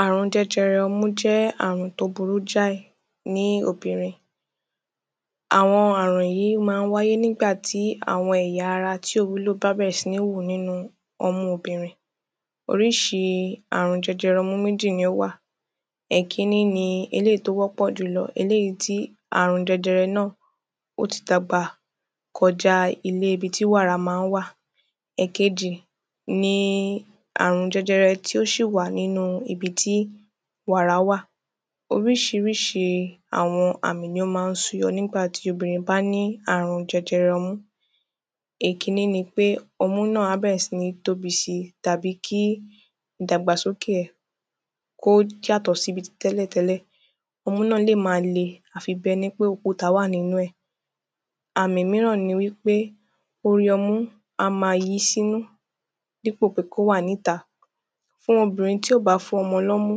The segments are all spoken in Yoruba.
Ààrùn jẹjẹrẹ ọmú jẹ́ ààrùn tí ó burú jáì ní obìnrìn Àwọn ààrùn máa ń wáyé nígbà tí àwọn ẹ̀yà ara tí ò wúlò bá bẹ̀rẹ̀ sí ń hù nínú ọmú obìnrìn Oríṣi ààrùn jẹjẹrẹ ọmú méjì ni ó wà Èkíní ni eléyì tí ó wọ́pọ̀ jùlọ Eléyì tí ààrùn jẹjẹrẹ náà ó tí dàgbà kọjà ilé ibi tí wàrà máa ń wà Èkejì ni ààrùn jẹjẹrẹ tí ó sì wà nínú ibi tí wàrà wà Oríṣiríṣi àwọn àmì ni ó máa ń su yọ nígbà tí obìnrìn bá ní ààrùn jẹjẹrẹ ọmú Èkíní ni pé ọmú náà á bẹ̀rẹ̀ sí ń tóbi si tàbí kí ìdàgbàsókè ẹ̀ kí ó yàtọ̀ sí bíi tí tẹ́lẹ̀tẹ́lẹ̀ Ọmú náà lè máa le àfi bíi ẹni ń pé òkúta wà nínú ẹ̀ Àmì mìíràn ni wípé orí ọmú á máa yí sínú dípò pé kí ó wà ní ìta Fún obìnrìn tí ò bá fún ọmọ ní ọmú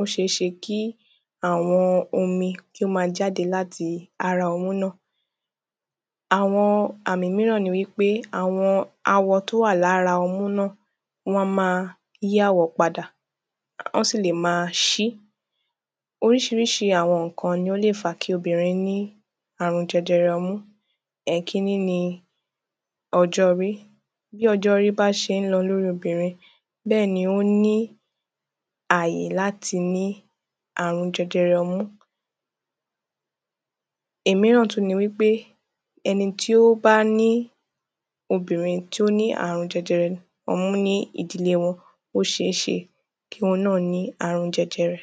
ó ṣeé ṣe kí àwọn omi kí ó ma jáde láti ara ọmú náà Àwọn àmì mìíràn ni wípé àwọn àwọ tí ó wà ní ara ọmú náà wọ́n á máa yí àwọ̀ padà Wọ́n sì lè máa ṣí Oríṣiríṣi àwọn nǹkan ni ó lè fàá kí obìnrìn ní ààrùn jẹjẹrẹ ọmú Èkíní ni ọjọ́ orí Bí ọjọ́ orí bá ṣe ń lọ ní orí obìnrìn bẹ́ẹ̀ ni ó ní àyè láti ní ààrùn jẹjẹrẹ ọmú Ìmìíràn tún ni wípé ẹni tí ó bá ní obìnrìn tí ó ní ààrùn jẹjẹrẹ ọmú ní ìdílé wọn ó ṣeé ṣe kí òhun náà ní ààrùn jẹjẹrẹ